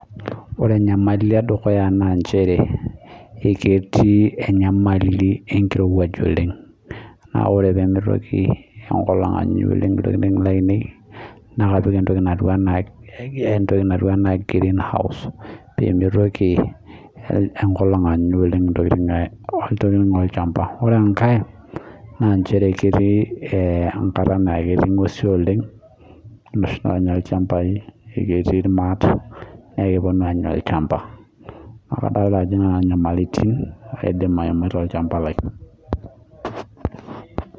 oree enyamali edukuya naa njeree, eketii enyamali enkirowuaj oleng, naa ore pemeitoki enkolong anya oleng intokiting lainei na kapik entoki natuu anaa greenhouse peemitoki enkolong anya oleng intokiting olchamba, oree enkai naa njeree ketii enkata naa ketii ng'uesi oleng inoshi naanya ilchambai eketii ilmaat naa kepuonu aanya olchamba naakadolta ajo nena nyamalitin aidim aimita tolchamba lai